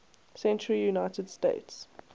century united states